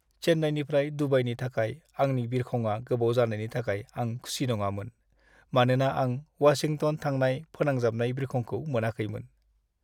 चेन्नाईनिफ्राय दुबाईनि थाखाय आंनि बिरखंआ गोबाव जानायनि थाखाय आं खुसि नङामोन, मानोना आं वाशिंटन थांनाय फोनांजाबनाय बिरखंखौ मोनाखैमोन।